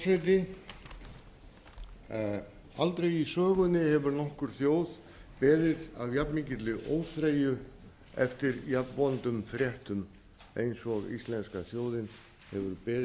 virðulegi forseti aldrei í sögunni hefur nokkur þjóð beðið af jafnmikilli óþreyju eftir jafnvondum fréttum eins og íslenska þjóðin hefur beðið eftir